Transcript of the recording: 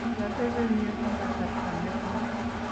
kiateben yu eng' kasarta negooi